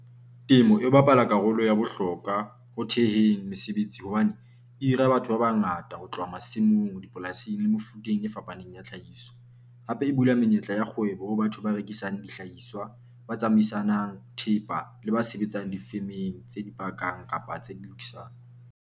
Temo e bapala karolo ya bohlokwa ho theheng mesebetsi hobane e hira batho ba bangata ho tloha masimong, dipolasing le mefuteng e fapaneng ya tlhahiso. Hape e bula menyetla ya kgwebo ho batho ba rekisang dihlahiswa, ba tsamaisanang thepa le ba sebetsang difemeng tse di pakang kapa tse di lokisang.